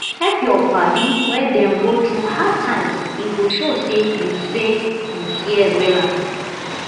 help yur padi wen dem go thru hard times e go show say yu say yu care wella